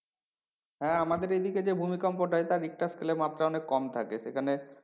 হ্যাঁ আমাদের এইদিকে যে ভূমিকম্পটা এটা richter scale এ মাপলে অনেক কম থাকে সেখানে